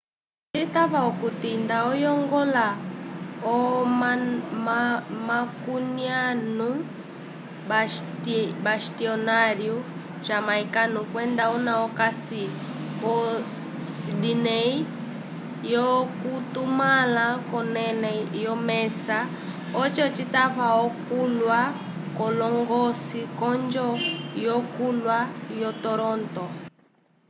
citava okuti nda oyongola o-macuniano bastionário jamaicano kwenda una okasi ko sydney l'okutumãla k'onẽle yomesa oco citave okulya k'oñgolõsi k'onjo yokulya yo-toronto